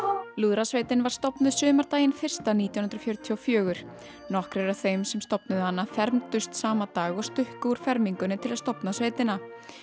lúðrasveitin var stofnuð sumardaginn fyrsta nítján hundruð fjörutíu og fjögur nokkrir af þeim sem stofnuðu hana fermdust sama dag og stukku úr fermingunni til að stofna sveitina